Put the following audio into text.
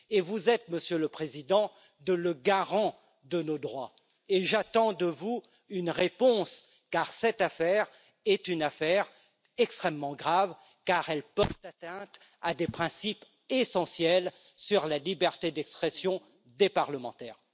Vous êtes, Monsieur le Président, le garant de nos droits et j'attends de vous une réponse, car cette affaire est une affaire extrêmement grave, car elle porte atteinte à des principes essentiels sur la liberté d'expression des parlementaires.